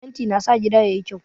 Fenti na sa gida yayi kyau